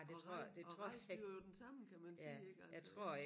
Og og rejsen bliver jo den samme kan man sige ik altså